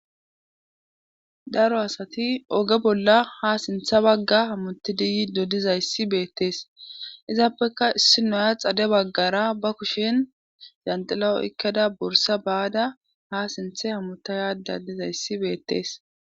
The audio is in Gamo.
Daro asati oge bolla ha sintha bagga hamuti diyi dodizayssi beettees izaappeka issi noya xade baggara ba kushen zanxila oykkada borsa baada ha sinthe hamuta yaada dizayssi beettees.